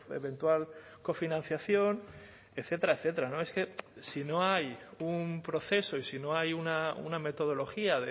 eventual cofinanciación etcétera etcétera es que si no hay un proceso y si no hay una metodología